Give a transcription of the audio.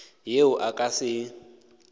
yeo a ka se e